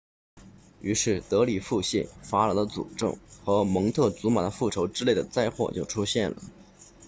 于是德里腹泻法老的诅咒和蒙特祖玛的复仇之类的灾祸就出现了